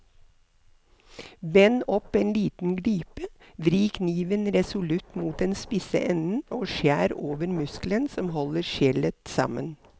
Bend opp en liten glipe, vri kniven resolutt mot den spisse enden og skjær over muskelen som holder skjellet sammen.